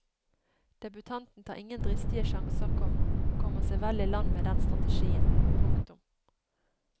Debutanten tar ingen dristige sjanser, komma og kommer seg vel i land med den strategien. punktum